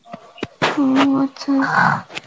ও আচ্ছা